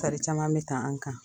Tari caman be ta an' kan.